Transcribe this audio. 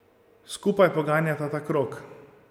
Skupaj poganjata ta krog.